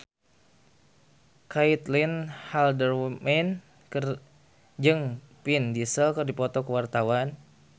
Caitlin Halderman jeung Vin Diesel keur dipoto ku wartawan